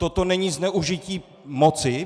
Toto není zneužití moci?